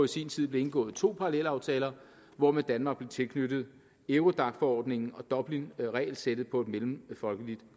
sin tid blev indgået to parallelaftaler hvormed danmark blev tilknyttet eurodacforordningen og dublinregelsættet på mellemfolkeligt